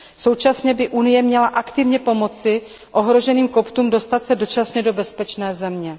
Současně by Evropská unie měla aktivně pomoci ohroženým Koptům dostat se dočasně do bezpečné země.